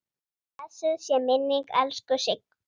Blessuð sé minning elsku Siggu.